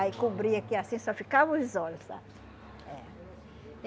Aí cobria aqui assim, só ficava os olhos, sabe? É